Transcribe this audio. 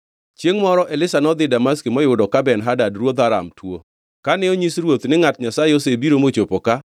Chiengʼ moro Elisha nodhi Damaski moyudo ka Ben-Hadad ruodh Aram tuo. Kane onyis ruoth ni ngʼat Nyasaye osebiro mochopo ka,